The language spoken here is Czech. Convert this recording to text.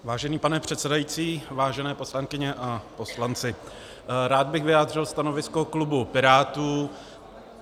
Vážený pane předsedající, vážené poslankyně a poslanci, rád bych vyjádřil stanovisko klubu Pirátů.